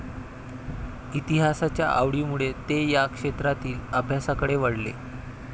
इतिहासाच्या आवडीमुळे ते या क्षेत्रातील अभ्यासाकडे वळले.